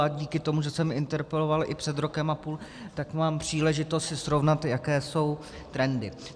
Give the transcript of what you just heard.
A díky tomu, že jsem interpeloval i před rokem a půl, tak mám příležitost si srovnat, jaké jsou trendy.